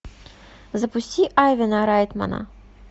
запусти айвена райтмана